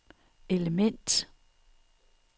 element